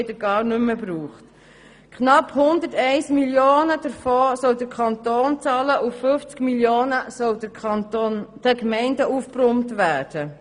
Der Kanton soll knapp 101 Mio. Franken bezahlen, und 50 Mio. Franken sollen den Gemeinden aufgebrummt werden.